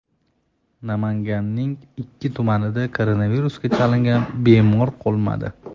Namanganning ikki tumanida koronavirusga chalingan bemor qolmadi.